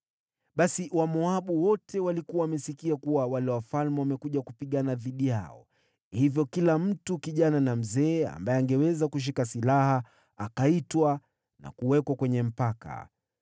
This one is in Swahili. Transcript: Basi Wamoabu wote walikuwa wamesikia kuwa wale wafalme wamekuja kupigana dhidi yao. Hivyo kila mtu, kijana na mzee, ambaye angeweza kushika silaha akaitwa na kuwekwa mpakani.